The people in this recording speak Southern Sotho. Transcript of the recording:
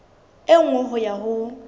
e nngwe ho ya ho